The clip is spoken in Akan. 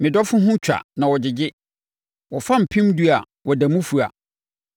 Me dɔfoɔ ho twa na ɔgyegye, wɔfa mpemdu a ɔda mu fua.